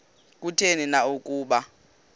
kutheni na ukuba